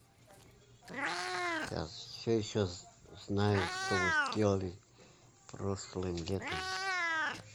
я все еще знаю что вы делали прошлым летом